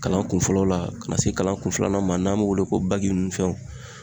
Kalan kun fɔlɔ la ka na se kalankun filanan ma n'an b'o wele ko bagi nuw fɛnw